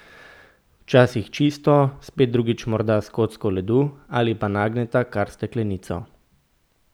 Včasih čisto, spet drugič morda s kocko ledu ali pa nagneta kar steklenico.